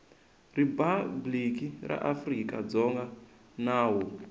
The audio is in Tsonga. riphabliki ra afrika dzonga nawu